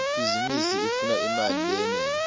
ibhizinisi ifuna imali leyenele